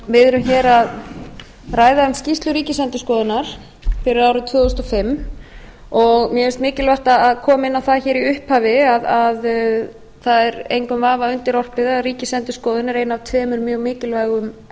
við erum hér að ræða um skýrslu ríkisendurskoðunar fyrir árið tvö þúsund og fimm og mér finnst mikilvægt að koma inn á það hér í upphafi að það er engum vafa undirorpið að ríkisendurskoðun er ein af tveimur mjög mikilvægum